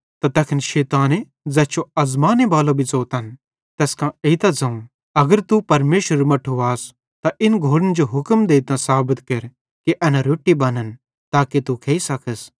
त तैखन शैताने ज़ैस जो आज़माने बालो भी ज़ोतन तैस कां एइतां ज़ोवं अगर तू परमेशरेरू मट्ठू आस त इन घोड़न जो हुक्म देइतां साबत केर कि एना रोट्टी बनन् ताके तू खेइ सकस